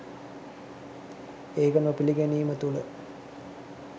ඒක නොපිළිගැනීම තුළ